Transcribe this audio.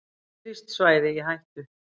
Friðlýst svæði í hættu